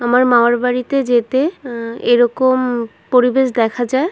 আমার মামার বাড়িতে যেতে হু এরকম পরিবেশ দেখা যায়।